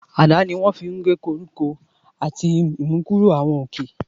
Àdá ni wón lo fun gige koriko ati imukuro awọn oke.